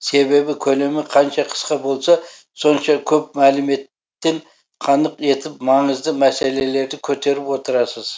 себебі көлемі қанша қысқа болса сонша көп мәлімет тен қанық етіп маңызды мәселелерді көтеріп отырасыз